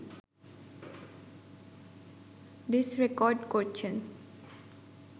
disk record করছেন